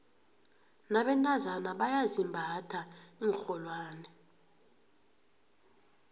nabentazana bayazimbatha iinrholwane